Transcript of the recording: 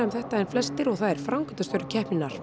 um þetta en flestir og það er framkvæmdarstjóri keppninnar